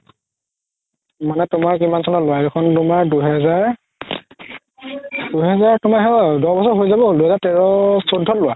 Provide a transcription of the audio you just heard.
মানে তুমাৰ কিমান চনত লুৱা সেইখন তুমাৰ দুহাজাৰ, দুহাজাৰ তুমাৰ সেই আৰু দুহাজাৰ তেৰ চৈধ্যত লুৱা